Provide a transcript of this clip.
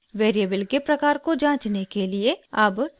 variable के प्रकार को जाँचने के लिए अब टाइप करते हैं